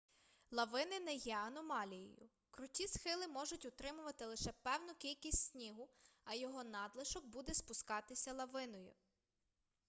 лавини не є аномалією круті схили можуть утримувати лише певну кількість снігу а його надлишок буде спускатися лавиною